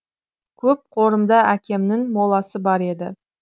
көп қорымда әкемнін моласы бар еді